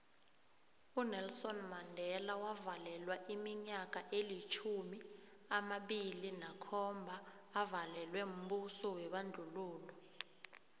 unelson mandela wavalelwa iminyaka elitjhumi amabili nakhomba avalelwa mbuso webandlululo